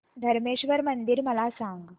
धरमेश्वर मंदिर मला सांग